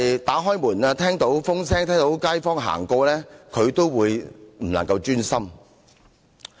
打開門，聽到風聲，聽到街坊走過，他也不能夠專心。